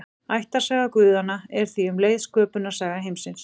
Ættarsaga guðanna er því um leið sköpunarsaga heimsins.